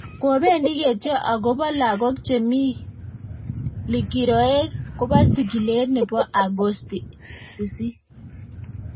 Kobendi ketyo agobo lagok chemi mi likiroek kobo sigilet nebo Agosti 8.